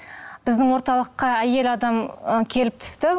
біздің орталыққа әйел адам ы келіп түсті